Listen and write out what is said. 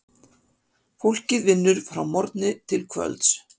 Fólkið vinnur frá morgni til kvölds.